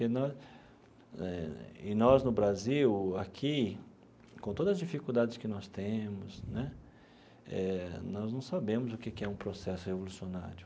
E nós eh e nós, no Brasil, aqui, com todas as dificuldades que nós temos né eh, nós não sabemos o que que é um processo revolucionário.